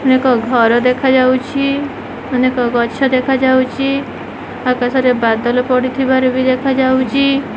ଅନେକ ଘର ଦେଖାଯାଉଛି। ଅନେକ ଗଛ ଦେଖାଯାଉଚି। ଆକାଶରେ ବାଦଲ ପଡ଼ିଥିବାର ବି ଦେଖାଯାଉଚି।